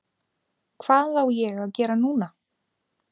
Hvað á ég að gera núna?